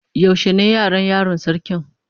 Yaushe ne Yaran yaron sarkin?